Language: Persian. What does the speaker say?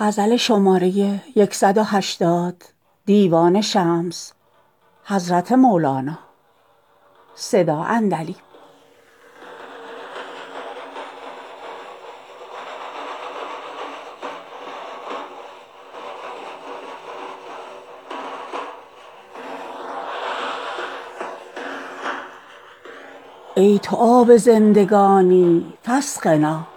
ای تو آب زندگانی فاسقنا